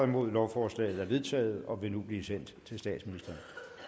nul lovforslaget er vedtaget og vil nu blive sendt til statsministeren